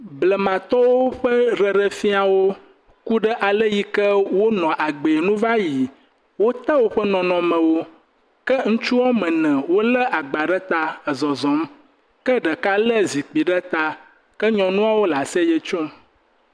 Blema tɔwo ƒe ɖeɖefia wò ku ɖe asi wonɔ agbee va yi. Wote wòƒe nɔnɔme wò ke ŋutsua woame eve wole agba ɖe ta nɔ zɔzɔm ke ɖeka le zikpui ɖe ta, ke nyɔnuawo le nu kom.